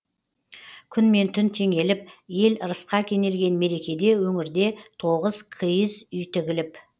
күн мен түн теңеліп ел ырысқа кенелген мерекеде өңірде тоғыз киіз үй тігіліп